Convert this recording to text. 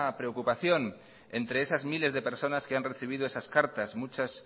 preocupación entre esas miles de personas que han recibido esas cartas muchas